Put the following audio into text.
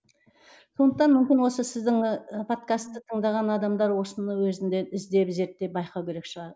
сондықтан мүмкін осы сіздің ы подкасты тыңдаған адамдар осыны өзінде іздеп зерттеп байқау керек шығар